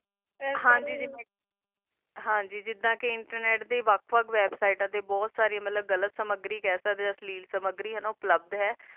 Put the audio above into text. ਹਨ ਜੀ ਹਨ ਜੀ ਜਿਡਾ ਕਾ internet ਦਾ different websites ਸਾਰੀ ਵੇਬ੍ਸਿਤੇ ਤਾ ਗਲਤ ਸਮਗਰੀ ਖਾ ਸਕਦਾ ਆ ਸਮਾਗਾਲਾਰੀ ਆ ਨਾ ਓਹੋ ਪ੍ਲਾਬਾਸ ਹ